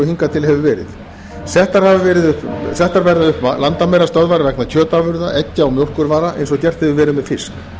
og hingað til hefur verið og settar verða upp landamærastöðvar vegna kjötafurða eggja og mjólkurvara eins og gert hefur verið með fisk